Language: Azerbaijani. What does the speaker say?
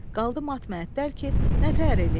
Qaldım mat-məəttəl ki, nətər eləyim?